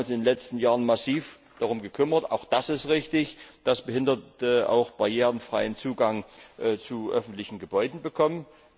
Wir haben uns in den letzten Jahren massiv darum gekümmert und das ist auch richtig dass Behinderte auch barrierefreien Zugang zu öffentlichen Gebäuden bekommen.